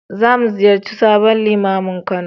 Za mu ziyarci sabon Limamin Kano.